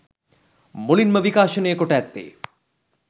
මුලින්ම විකාශනය කොට ඇත්තේ